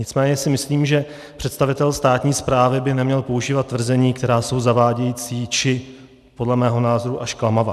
Nicméně si myslím, že představitel státní správy by neměl používat tvrzení, která jsou zavádějící či podle mého názoru až klamavá.